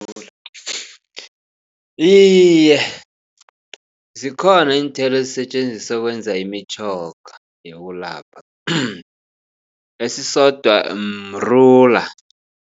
Iye, zikhona iinthelo ezisetjenziswa ukwenza imitjhoga yokulapha esisodwa mrula.